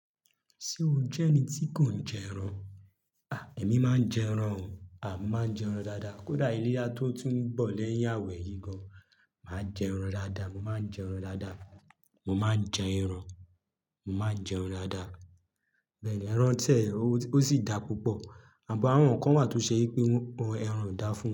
Ṣé o jẹ́ ẹni tí kò ń jẹ ẹran? À! Èmi máa ń jẹ ẹran o. À! Mo máa ń jẹ ẹran dáadáa. Kódà ìléyà tó tún bọ̀ lẹ́yìn àwẹ̀ yìí gan, màá jẹ ẹran dáadáa. Mo máa ń jẹ ẹran dáadáa. Mo máa ń jẹ ẹran. Mo máa ń jẹ ẹran dáadáa. Bẹ́ẹ̀ni, ẹran tẹ̀ ó sì dá púpọ̀ àbọ̀ àwọn kan wà tó ṣe yẹ pé ẹran o dà fún wọn.